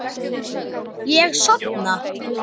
Ég sofna.